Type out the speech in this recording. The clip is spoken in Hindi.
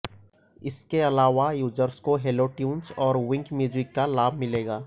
इसके अलावा यूजर्स को हैलोट्यून्स और विंक म्यूज़िक का लाभ मिलेगा